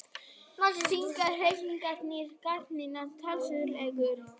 Þingmenn Hreyfingarinnar gagnrýna starfsreglur